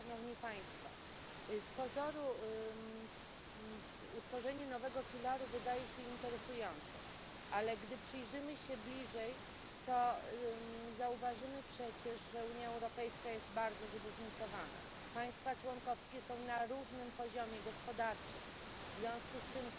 Z pozoru utworzenie nowego filaru wydaje się interesujące, ale gdy przyjrzymy się bliżej, to zauważymy przecież, że Unia Europejska jest bardzo zróżnicowana, państwa członkowskie są na różnym poziomie gospodarczym, w związku z tym